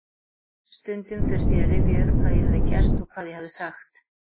Stundum þurfti ég að rifja upp hvað ég hafði gert og hvað ég hafði sagt.